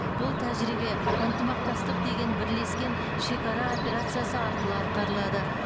бұл тәжірибе ынтымақтастық деген бірлескен шекара операциясы арқылы атқарылады